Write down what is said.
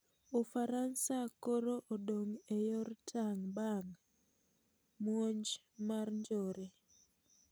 Ufaransa koro odong' e eyor tang' bang' muonj mar njore